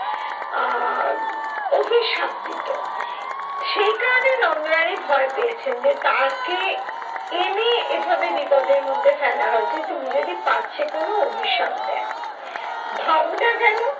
আহ অভিশাপ দিতো। সেই কারণেই নন্দরানী ভয় পেয়েছেন যে তাকে, এনে এভাবে বিপর্যয়ের মধ্যে ফেলা হয়েছে তিনি যদি পাছে কোনো অভিশাপ দেন।